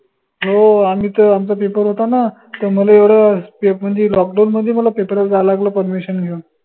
हो आनि त आमचा paper होता ना त मले एवढं म्हनजे lockdown मध्ये मला paper ले जा लागलं permission घेऊन